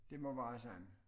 Dedt må være sådan